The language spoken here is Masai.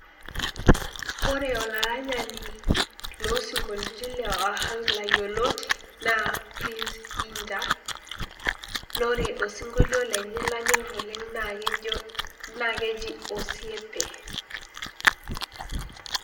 Kore olaranyani loosinkolioti le ohangla yioloti naa Prince Inda . Naa ore osinkolio lenye nanyor oleng naa kejo naa keji osiempe.